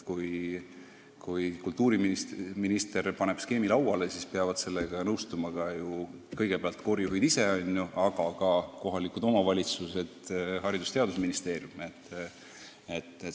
Kui kultuuriminister paneb skeemi lauale, siis peavad sellega nõustuma kõigepealt koorijuhid ise, aga ka kohalikud omavalitsused, Haridus- ja Teadusministeerium.